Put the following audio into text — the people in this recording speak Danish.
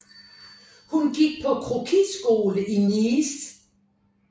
Hun gik på croquisskole i Nice